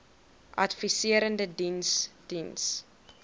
adviserende diens diens